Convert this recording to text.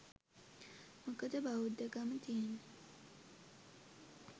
මොකද බෞද්ධකම තියෙන්නෙ